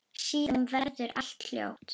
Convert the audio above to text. Síðan verður allt hljótt.